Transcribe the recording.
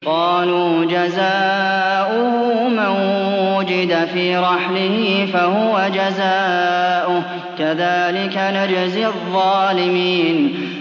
قَالُوا جَزَاؤُهُ مَن وُجِدَ فِي رَحْلِهِ فَهُوَ جَزَاؤُهُ ۚ كَذَٰلِكَ نَجْزِي الظَّالِمِينَ